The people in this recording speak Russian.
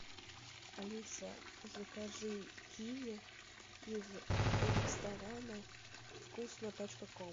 алиса закажи киви из ресторана вкусно точка ком